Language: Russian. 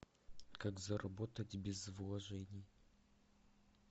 как заработать без вложений